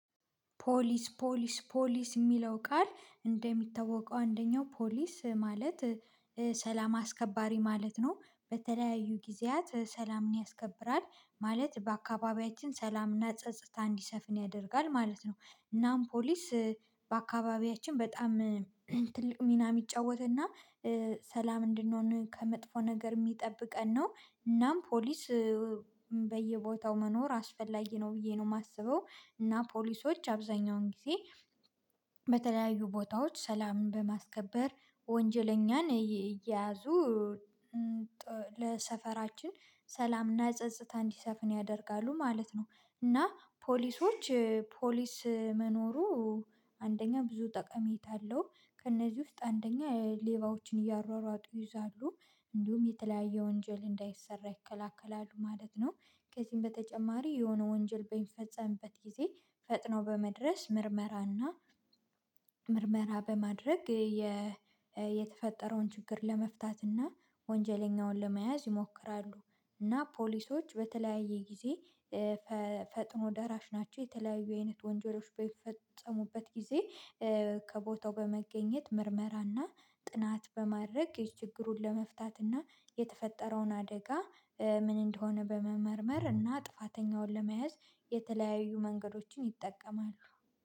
ፖሊስ ፖሊስ ፖሊስ የሚለው ቃል እንደሚታወቀው አንደኛው ፖሊስ ማለት ሰላም አስከባሪ ማለት ነው። በተለያዩ ጊዜያት ሰላምን ያስከብራል ማለት በአካባቢያችን ሰላምና ጸጥታ እንዲሰፍን ያደርጋል ማለት ነው። እናም ፖሊስ በአካባቢያችን በጣም ትልቅ ሚና የሚጫወትና ሰላም እንድንሆን ከመጥፎ ነገር የሚጠብቀን ነው። እናም ፖሊስ በየቦታው መኖር አስፈላጊ ነው ብዬ ነው የማስበው እና ፖሊሶች አብዛኛውን ጊዜ በተለያዩ ቦታዎች ሰላምን በማስከበር ወንጀለኛን እየያዙ ለሰፈራችን ሰላምና ጸጥታ እንዲሰፍን ያደርጋሉ ማለት ነው። እና ፖሊሶች ፖሊስ መኖሩ አንደኛ ብዙ ጠቀሜታ አለው። ከእነዚህ ውስጥ አንደኛ ሌባዎችን እያሯሯጡ ይይዛሉ እንዲሁም የተለያየ ወንጀል እንዳይሰራ ይከለክላሉ ማለት ነው። ከዚህም በተጨማሪ የሆነ ወንጀል በፈጸምበት ጊዜ ፈጥኖ በመድረስ ምርመራና ምርመራ በማድረግ የተፈጠረውን ችግር ለመፍታትና እና ወንጀለኛውን ለመያዝ ይሞክራሉ። እና ፖሊሶች በተለያየ ጊዜ ፈጥኖ ደራሽ ናቸው የተለያዩ አይነት ወንጀሎች በሚፈጸሙበት ጊዜ ከቦታው በመገኘት ምርመራና ጥናት በማድረግ ይህ ችግሩን ለመፍታትና የተፈጠረውን አደጋ ምን እንደሆነ በመመርመር እና ጥፋተኛውን ለመያዝ የተለያዩ መንገዶችን ይጠቀማሉ